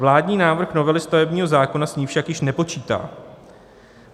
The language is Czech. Vládní návrh novely stavebního zákona s ní však již nepočítá.